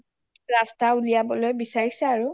ৰাস্তা উলিয়াবলৈ বিচাৰিছে আৰু